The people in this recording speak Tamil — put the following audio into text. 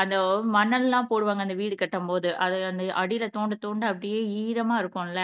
அந்த மண்ணெல்லாம் போடுவாங்க அந்த வீடு கட்டும்போது அது அந்த அடியில தோண்ட தோண்ட அப்படியே ஈரமா இருக்கும்ல